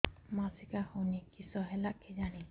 ମାସିକା ହଉନି କିଶ ହେଲା କେଜାଣି